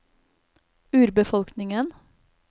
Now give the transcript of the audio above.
urbefolkningen